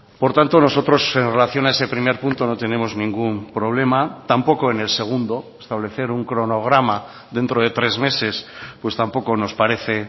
por tanto nosotros en relación a ese primer punto no tenemos ningún problema tampoco en el segundo establecer un cronograma dentro de tres meses pues tampoco nos parece